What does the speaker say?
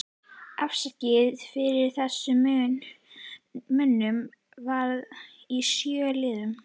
Afsalið fyrir þessum munum var í sjö liðum